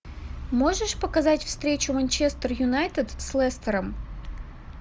можешь показать встречу манчестер юнайтед с лестером